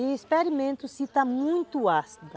E experimento se está muito ácida.